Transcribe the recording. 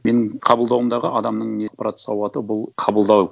менің қабылдауымдағы адамның сауаты бұл қабылдау